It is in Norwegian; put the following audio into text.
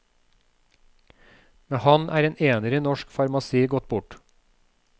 Med ham er en ener i norsk farmasi gått bort.